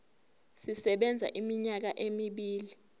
sisebenza iminyaka emibili